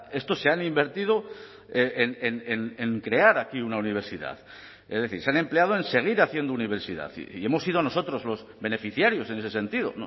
estos se han invertido en crear aquí una universidad es decir se han empleado en seguir haciendo universidad y hemos sido nosotros los beneficiarios en ese sentido